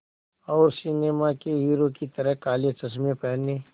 और सिनेमा के हीरो की तरह काले चश्मे पहने